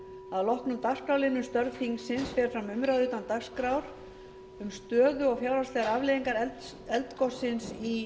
að loknum dagskrárliðnum störf þingsins fer fram umræða utan dagskrár um stöðu og fjárhagslegar afleiðingar eldgossins í